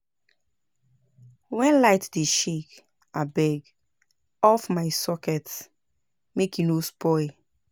Wen light dey shake abeg off my socket make e no spoil.